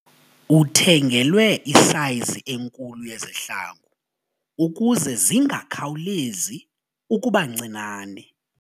Uthengelwe isayizi enkulu yezihlangu ukuze zingakhawulezi ukuba ncinane.